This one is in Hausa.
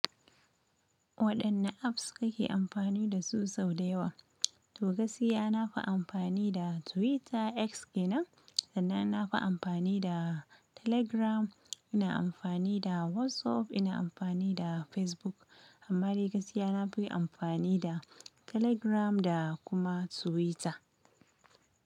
Waɗanne apps kake amfani da su sau da yawa? To gaskiya nafi amfani da Twitter, X kenan, sannan nafi amfani da Telegram, ina amfani da WhatsApp, ina amfani da Facebook. Amma dai gaskiya nafi amfani da Telegram da kuma Twitter.